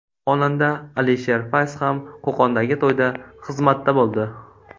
Xonanda Alisher Fayz ham Qo‘qondagi to‘yda xizmatda bo‘ldi.